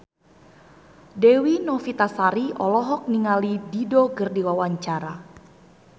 Dewi Novitasari olohok ningali Dido keur diwawancara